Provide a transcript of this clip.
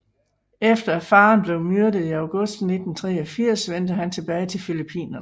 Efter at faren blev myrdet i august 1983 vendte han tilbage til Filippinerne